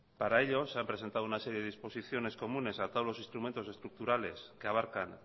para ello se han presentado una serie de disposiciones comunes a todos los instrumentos estructurales que abarcan